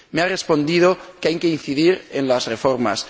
me ha respondido que hay que incidir en las reformas.